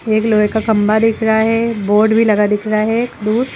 एक लोहे का खंभा दिख रहा है बोर्ड भी लगा दिख रहा है दूर।